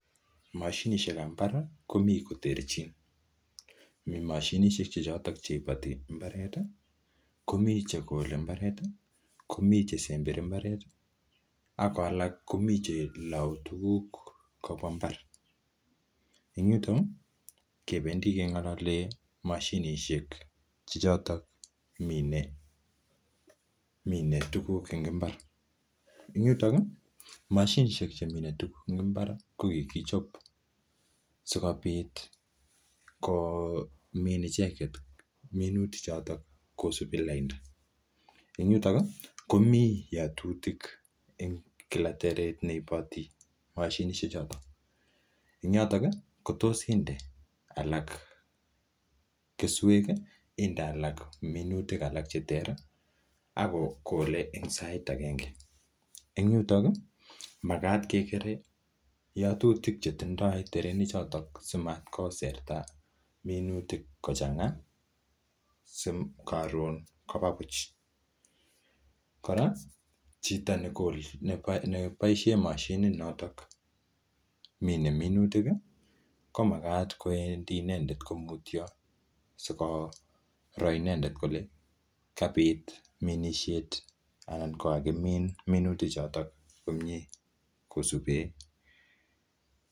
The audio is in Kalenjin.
Mashinishek ab imbar mi koterchin mi mashinishek Che choton chibati imbaret komibchekoke imbaret Komi chekele imbaret Komi chesembere imbaret ako alak komiten chelau tuguk kobwa imbar en yuton Kebendi kengalali mashinishek Che choton kimine tuguk en imbar en yuton mashinishek chemine tuguk en imbar kokikichob sikobit komin icheket minutik choton kosibgei ag tuguklain en yuton komiten ngatutik en kila imbaret neibati mashinishek choton en yoton kotos inde anan inde keswek minutik alak cheterter akokole en sait age en yuton komakat kegere yatutik chetindoi terenik choton sikamkoserta minutik kochanga sikoton Koba Buch koraa Chito nebaishen mashinit niton kominenminutik komakat kowendit ineket komutio sikonai inendet Kole kabit minishet anan kokakimin minutik choton komie kosuben